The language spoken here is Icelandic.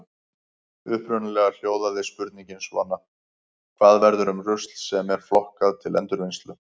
Upprunalega hljóðaði spurningin svona: Hvað verður um rusl sem er flokkað til endurvinnslu?